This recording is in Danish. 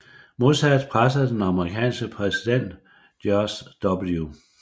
Modsat pressede den amerikanske præsident George W